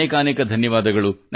ಅನೇಕಾನೇಕ ಧನ್ಯವಾದ